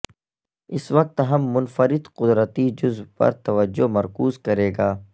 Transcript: اس وقت ہم منفرد قدرتی جزو پر توجہ مرکوز کرے گا